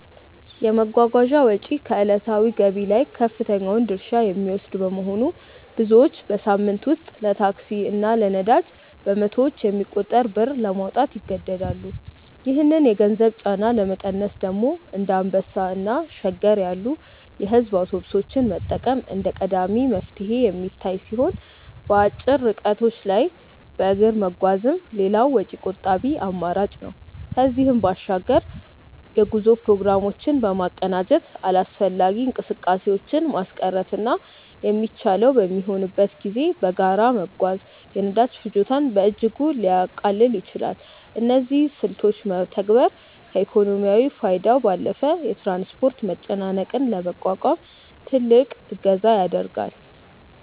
የመጓጓዣ ወጪ ከዕለታዊ ገቢ ላይ ከፍተኛውን ድርሻ የሚወስድ በመሆኑ፣ ብዙዎች በሳምንት ውስጥ ለታክሲ እና ለነዳጅ በመቶዎች የሚቆጠር ብር ለማውጣት ይገደዳሉ። ይህንን የገንዘብ ጫና ለመቀነስ ደግሞ እንደ አንበሳ እና ሸገር ያሉ የሕዝብ አውቶቡሶችን መጠቀም እንደ ቀዳሚ መፍትሄ የሚታይ ሲሆን፣ በአጭር ርቀቶች ላይ በእግር መጓዝም ሌላው ወጪ ቆጣቢ አማራጭ ነው። ከዚህም በባሻግር የጉዞ ፕሮግራሞችን በማቀናጀት አላስፈላጊ እንቅስቃሴዎችን ማስቀረትና የሚቻለው በሚሆንበት ጊዜ በጋራ መጓዝ የነዳጅ ፍጆታን በእጅጉ ሊያቃልል ይችላል። እነዚህን ስልቶች መተግበር ከኢኮኖሚያዊ ፋይዳው ባለፈ የትራንስፖርት መጨናነቅን ለመቋቋም ትልቅ እገዛ ያደርጋል።